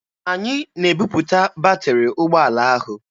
Anyị na-ebupụta batịrị ụgbọala ahụ.